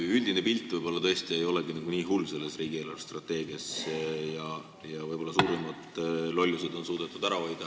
Selle riigi eelarvestrateegia üldine pilt võib-olla tõesti ei olegi nii hull ja suuremad lollused on suudetud ära hoida.